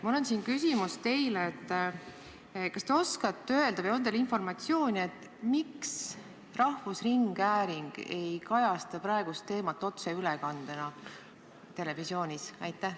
Mul on teile küsimus: kas te oskate öelda või on teil informatsiooni, miks rahvusringhääling ei kajasta praegust teemat otseülekandena televisioonis?